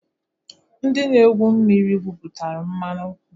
Ndị na-egwu mmiri gwụpụtalụ mmanụ gasi.